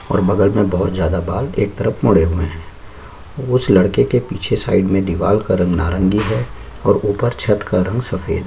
और बगल में बहुत ज्यादा बाल एक तरफ मुड़े हुए है उस लड़के के पीछे साइड में दीवाल का रंग नारंगी है और ऊपर छत का रंग सफ़ेद है।